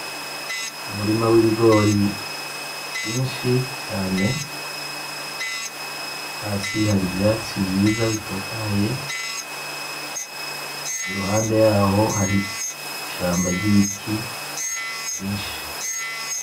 Umurima w'ibigori vyinshi cane ,hasi hari ivyatsi vyiza bitotahaye ,iruhande yaho hari ishamba ry'ibiti vyinshi .